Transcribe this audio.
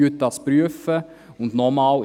«Prüfen Sie das!